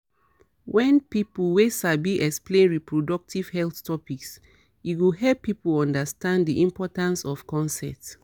wen people wey sabi explain reproductive health topics e go help people understand di importance of consent